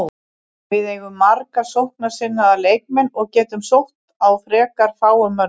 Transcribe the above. Við eigum marga sóknarsinnaða leikmenn og getum sótt á frekar fáum mönnum.